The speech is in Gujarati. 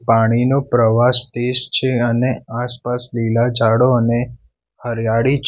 પાણીનો પ્રવાહ સ્ટેશ છે અને આસપાસ લીલા ઝાડો અને હરિયાળી--